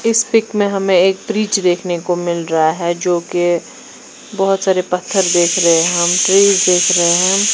इस पिक में हमें एक फ्रिज देखने को मिल रहा है जो की बोहोत सारे पत्थर देख रहे है हम फ्रिज देख रहे है हम --